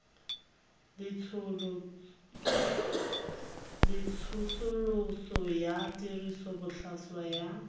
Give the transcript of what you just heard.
le tsosoloso ya tirisobotlhaswa ya